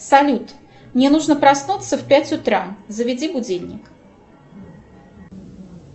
салют мне нужно проснуться в пять утра заведи будильник